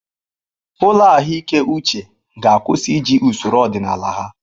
Ụlọ ahụike uche ga-akwụsị iji usoro ọdịnala ha.